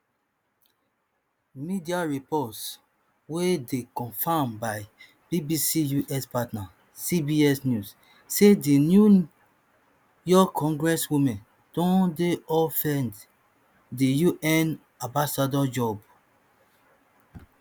media reports wey dey confirmed by bbc us partner cbs news say di new york congresswoman don dey offered di un ambassador job